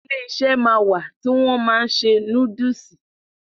Iléeṣẹ́ ma wà tí wọ́n ma n ṣe núdúsì.